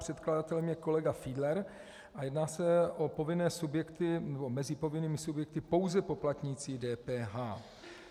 Předkladatelem je kolega Fiedler a jedná se o povinné subjekty, mezi povinnými subjekty pouze poplatníci DPH.